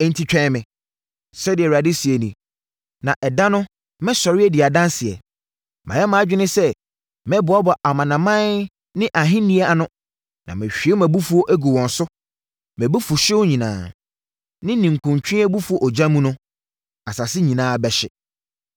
Enti, twɛn me,” sɛdeɛ Awurade seɛ nie, “na ɛda no mɛsɔre adi adanseɛ. Mayɛ mʼadwene sɛ mɛboaboa amanaman ne ahennie ano na mahwie mʼabufuo agu wɔn so mʼabufuhyeɛ nyinaa. Me ninkuntwe abufuo ogya mu no, asase nyinaa bɛhye.